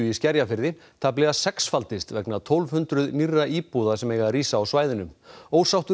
í Skerjafirði tæplega sexfaldist vegna tólf hundruð nýrra íbúða sem eiga að rísa á svæðinu ósáttur